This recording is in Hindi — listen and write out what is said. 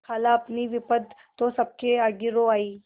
खालाअपनी विपद तो सबके आगे रो आयी